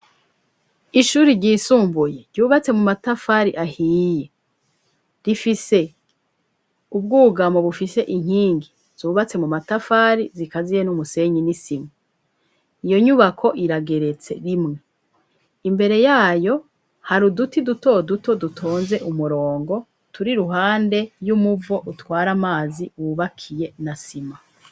ishuri ryisumbuye ryubatse mu matafari ahiye rifise ubwugamo bufise inkingi zubatse mu matafari zikaziye n'umusenyi n'isimu iyo nyubako irageretse rimwe imbere yayo hari uduti duto duto dutonze umurongo turi ruhande y'umuvo utware amazi wubakiye na sima